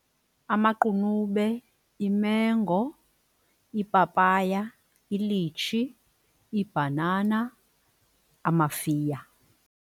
Amaqunube, imengo, iipapaya, ilitshi, ibhanana, amafiya.